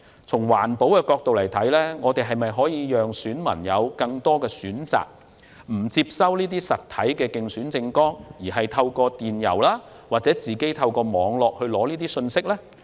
從環保角度考慮，我們可否向選民提供更多選擇，讓他們可以選擇不接收實體競選刊物，反而透過電郵或網絡取得相關信息？